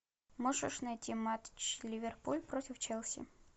можешь найти матч ливерпуль против челси